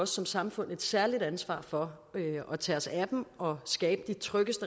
som samfund et særligt ansvar for at tage os af dem og skabe de tryggest